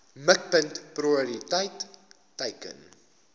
mikpunt prioriteit teiken